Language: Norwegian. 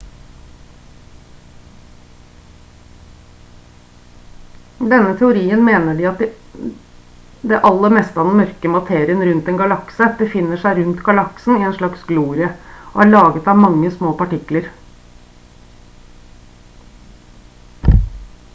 denne teorien mener at det aller meste av den mørke materien rundt en galakse befinner seg rundt galaksen i en slags glorie og er laget av mange små partikler